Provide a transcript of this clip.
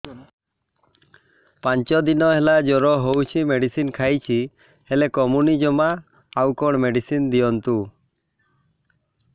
ପାଞ୍ଚ ଦିନ ହେଲା ଜର ହଉଛି ମେଡିସିନ ଖାଇଛି ହେଲେ କମୁନି ଜମା ଆଉ କଣ ମେଡ଼ିସିନ ଦିଅନ୍ତୁ